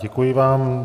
Děkuji vám.